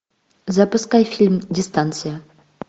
запускай фильм дистанция